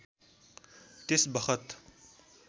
त्यस बखत